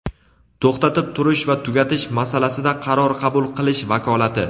to‘xtatib turish va tugatish masalasida qaror qabul qilish vakolati;.